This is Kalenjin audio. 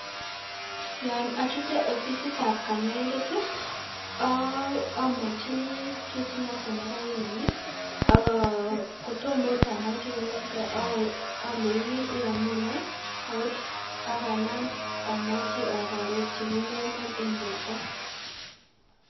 Yoon ochute ofisitab konyoindet ii, omwochini kiit noton nekaiman akoo kotomoo okot amwoi kounoton oleinii iyomunee akanaam amwochi ak arorchi kiit neimon en borto.